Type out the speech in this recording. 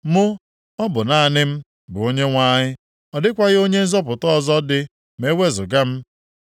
Mụ, ọ bụ na naanị m, bụ Onyenwe anyị, ọ dịkwaghị onye nzọpụta ọzọ dị ma ewezuga m.